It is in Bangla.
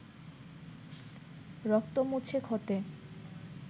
রক্ত মুছে ক্ষতে